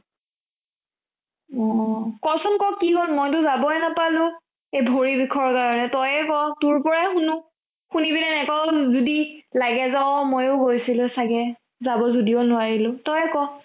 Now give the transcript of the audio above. অ অ কচোন ক কি ল মইটো যাবই নাপালো এই ভৰি বিষৰ কাৰণে তই ক তোৰ পৰাই শুনো শুনি পেনে লাগে যে অ মইও গৈছিলো চাগে যাব যদিও নোৱাৰিলো, তই ক